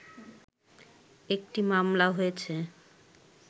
একটি মামলা হয়েছে